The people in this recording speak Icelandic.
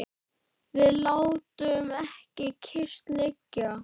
Við látum ekki kyrrt liggja.